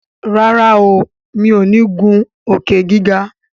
ràrá o mi'o ní ngun Òkè-gíga.